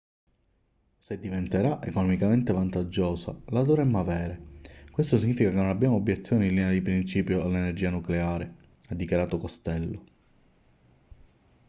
se diventerà economicamente vantaggiosa la dovremmo avere questo significa che non abbiamo obiezioni in linea di principio all'energia nucleare ha dichiarato costello